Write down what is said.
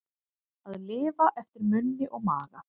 Að lifa eftir munni og maga